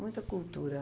Muita cultura.